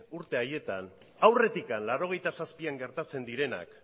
urte haietan aurretik laurogeita zazpian gertatzen direnak